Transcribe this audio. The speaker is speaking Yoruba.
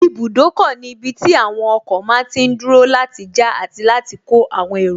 Ibùdókọ̀ ní ibi tí àwọn ọkọ̀ máa tí n dúró láti já àti láti kó àwọn èrò